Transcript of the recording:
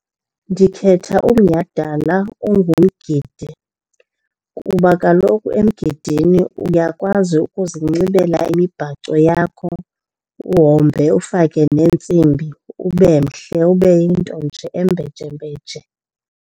Ndikhetha umnyhadala ongumgidi kuba kaloku emgidini uyakwazi ukuzinxibela imibhaco yakho uhombe, ufake neentsimbi ube mhle, ube yinto nje embejembeje.